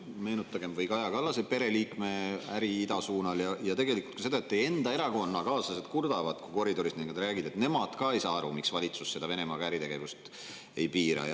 Noh, meenutagem kas või Kaja Kallase pereliikme äri idasuunal ja tegelikult ka seda, et teie enda erakonnakaaslased kurdavad, kui koridoris nendega räägin, et nemad ka ei saa aru, miks valitsus äritegevust Venemaaga ei piira.